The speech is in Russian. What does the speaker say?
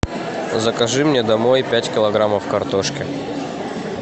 закажи мне домой пять килограммов картошки